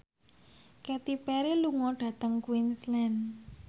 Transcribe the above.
Katy Perry lunga dhateng Queensland